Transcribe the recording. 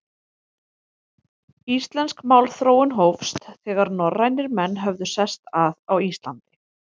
Íslensk málþróun hófst, þegar norrænir menn höfðu sest að á Íslandi.